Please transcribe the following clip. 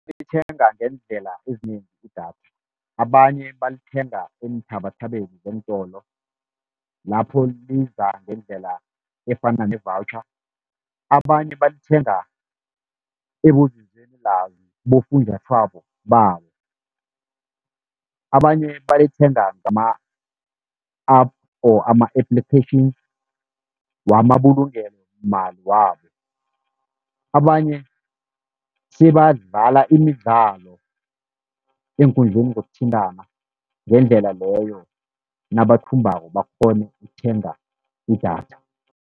Lithengwa ngeendlela ezinengi idatha, abanye balithenga eenthabathabeni zentolo, lapho liza ngendlela efana ne-voucher. Abanye balithenga ebunzinzweni lwazi kibofunjathwako babo, abanye balithenga ngama-app or ama-applications wamabulungelo mali wabo. Abanye sebadlala imidlalo eenkundleni zokuthintana, ngendlela leyo nabathumbako bakghone ukuthenga idatha.